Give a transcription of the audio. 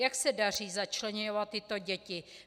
Jak se daří začleňovat tyto děti?